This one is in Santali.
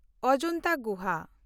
ᱚᱡᱚᱱᱛᱟ ᱜᱩᱦᱟ